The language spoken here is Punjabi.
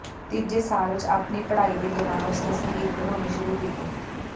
ਤੀਜੇ ਸਾਲ ਵਿਚ ਆਪਣੀ ਪੜ੍ਹਾਈ ਦੇ ਦੌਰਾਨ ਉਸਨੇ ਸੰਗੀਤ ਬਣਾਉਣੇ ਸ਼ੁਰੂ ਕੀਤੇ